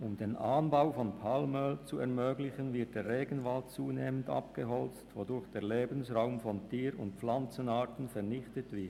Um den Anbau von Palmöl zu ermöglichen, wird der Regenwald zunehmend abgeholzt, wodurch der Lebensraum von Tier- und Pflanzenarten vernichtet wird.